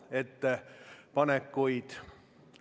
Ja härra Grünthal, kas protseduuriline küsimus?